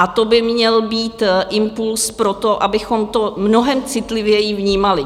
A to by měl být impuls pro to, abychom to mnohem citlivěji vnímali.